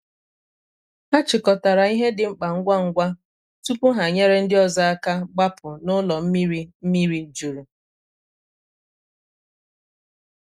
hà chịkọtarà ihe dị mkpa ngwa ngwa tupu ha nyere ndị ọzọ aka gbapụ̀ n’ụlọ mmiri mmiri jurù.